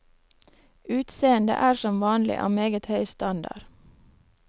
Utseende er som vanlig av meget høy standard.